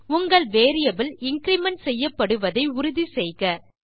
உங்கள் variable increment செய்யப்படுவதை உறுதி செய்க